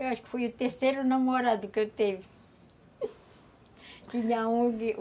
Eu acho que foi o terceiro namorado que eu teve.